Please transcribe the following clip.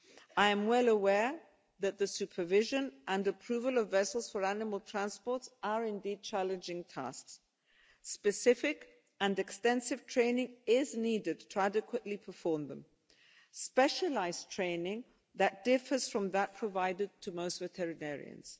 I am well aware that the supervision and approval of vessels for animal transport are indeed challenging tasks. Specific and extensive training is needed to adequately perform them specialised training that differs from that provided to most veterinarians.